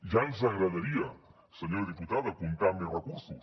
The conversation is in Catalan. ja ens agradaria senyora diputada comptar amb més recursos